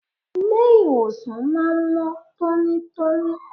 Ilé ìwòsàn máa ń mọ́ tónítóní.